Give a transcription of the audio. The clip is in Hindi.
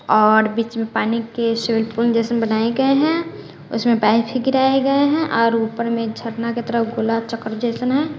और बीच में पानी के स्विमिंग पूल जैसन बनाए गए हैं उसमें पाइप भी गिराए गए हैं और ऊपर में झरना का तरह गोला चक्र जैसन है।